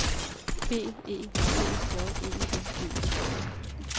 B E T J E N E